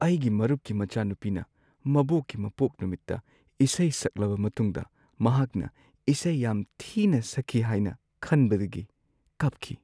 ꯑꯩꯒꯤ ꯃꯔꯨꯞꯀꯤ ꯃꯆꯥꯅꯨꯄꯤꯅ ꯃꯕꯣꯛꯀꯤ ꯃꯄꯣꯛ ꯅꯨꯃꯤꯠꯇ ꯏꯁꯩ ꯁꯛꯂꯕ ꯃꯇꯨꯡꯗ ꯃꯍꯥꯛꯅ ꯏꯁꯩ ꯌꯥꯝ ꯊꯤꯅ ꯁꯛꯈꯤ ꯍꯥꯏꯅ ꯈꯟꯕꯗꯒꯤ ꯀꯞꯈꯤ ꯫